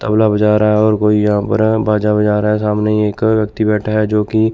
तबला बजा रहा है और कोई यहां पर बाजा बजा रहा है सामने एक व्यक्ति बैठा है जो की--